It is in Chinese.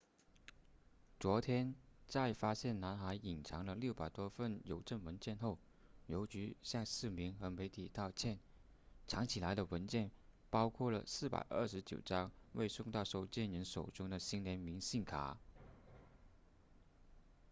昨天在发现男孩隐藏了600多份邮政文件后邮局向市民和媒体道歉藏起来的文件包括了429张未送到收件人手中的新年明信片